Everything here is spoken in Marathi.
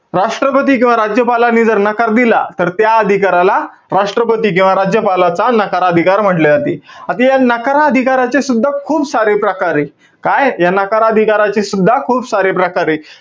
राष्ट्रपती किंवा राज्यपालाने जर नकार दिला, तर त्या अधिकाराला राष्ट्रपती किंवा राज्यपालाचा नकार अधिकार म्हंटले जाते. आता या नकार अधिकाराचे सुद्धा खूप सारे प्रकारे. काय? या नकार अधिकाराचे सुद्धा, खूप सारे प्रकारे.